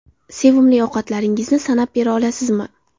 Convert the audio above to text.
Sevimli ovqatlaringizni sanab bera olasizmi?